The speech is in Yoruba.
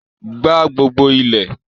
gbá gbogbo ilẹ̀!